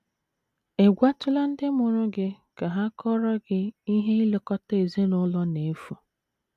Ị̀ gwatụla ndị mụrụ gị ka ha kọọrọ gị ihe ilekọta ezinụlọ na -- efu?